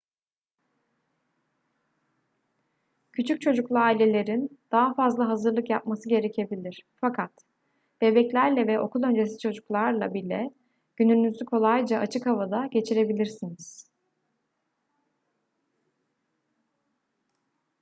küçük çocuklu ailelerin daha fazla hazırlık yapması gerekebilir fakat bebeklerle ve okul öncesi çocuklarla bile gününüzü kolayca açık havada geçirebilirsiniz